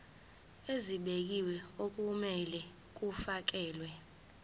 ezibekiwe okumele kufakelwe